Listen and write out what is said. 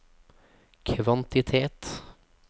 kvantitet